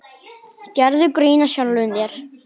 Gerðu grín að sjálfum þér.